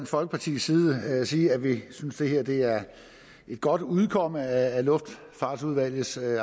folkepartis side sige at vi synes at det her er et godt udkomme af luftfartsudvalgets